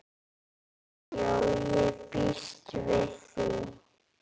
Jú, ég býst við því